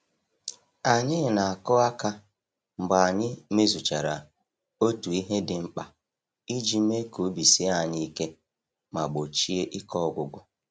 Anyị na-akụ aka mgbe anyị mezuchara otu ihe dị mkpa iji mee ka obi sie anyị ike ma gbochie ike ọgwụgwụ.